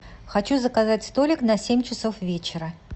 хочу заказать столик на семь часов вечера